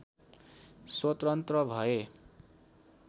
स्वतन्त्र भए